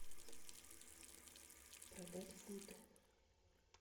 продать фунты